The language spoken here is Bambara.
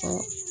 Ɔ